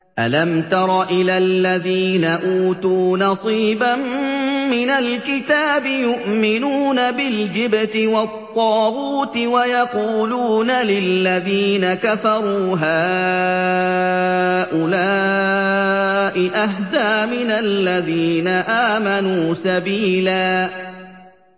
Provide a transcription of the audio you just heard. أَلَمْ تَرَ إِلَى الَّذِينَ أُوتُوا نَصِيبًا مِّنَ الْكِتَابِ يُؤْمِنُونَ بِالْجِبْتِ وَالطَّاغُوتِ وَيَقُولُونَ لِلَّذِينَ كَفَرُوا هَٰؤُلَاءِ أَهْدَىٰ مِنَ الَّذِينَ آمَنُوا سَبِيلًا